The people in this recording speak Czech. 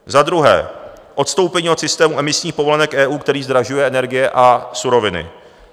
Za druhé - odstoupení od systému emisních povolenek EU, který zdražuje energie a suroviny.